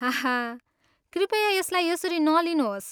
हाहा कृपया यसलाई यसरी नलिनुहोस्।